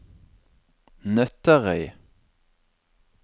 Nøtterøy